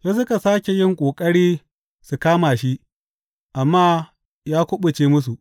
Sai suka sāke yin ƙoƙari su kama shi, amma ya kuɓuce musu.